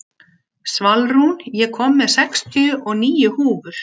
Svalrún, ég kom með sextíu og níu húfur!